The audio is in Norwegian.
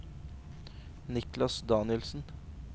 Niklas Danielsen